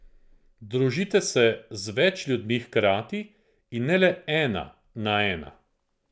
Družite se z več ljudmi hkrati, in ne le ena na ena.